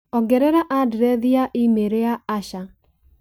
ongerera andirethi ya i-mīrū ya Asha